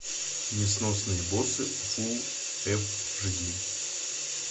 несносные боссы фулл эйч ди